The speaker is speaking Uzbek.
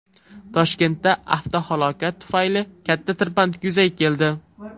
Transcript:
Toshkentda avtohalokat tufayli katta tirbandlik yuzaga keldi.